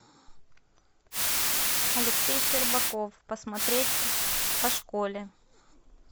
алексей щербаков посмотреть о школе